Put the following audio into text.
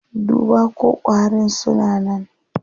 Duba ko ƙwarin suna nan.